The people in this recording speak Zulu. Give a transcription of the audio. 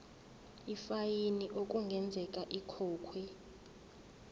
ifayini okungenzeka ikhokhwe